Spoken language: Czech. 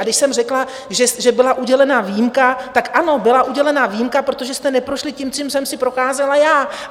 A když jsem řekla, že byla udělena výjimka, tak ano, byla udělena výjimka, protože jste neprošli tím, čím jsem si procházela já.